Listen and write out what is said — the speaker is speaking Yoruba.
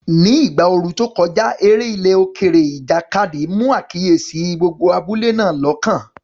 Ní ìgbà ooru tó kọjá, eré ilẹ̀ òkèèrè, ìjàkadì, mú àkíyèsí gbogbo abúlé náà lọ́kàn.